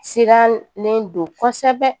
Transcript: Sirannen don kosɛbɛ